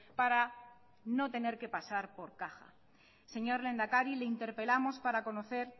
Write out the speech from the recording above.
para no tener que pasar por caja señor lehendakari le interpelamos para conocer